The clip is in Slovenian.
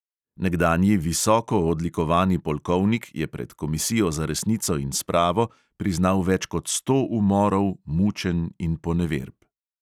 Nekdanji visoko odlikovani polkovnik je pred komisijo za resnico in spravo priznal več kot sto umorov, mučenj in poneverb.